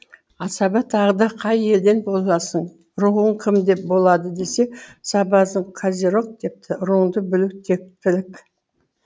асаба тағы да қай елден боласың руың кім деп болады десе сабазың козерог депті руыңды білу тектілік